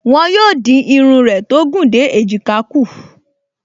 Wọ́n yóò dín irun rẹ tó gùn dé èjìká kù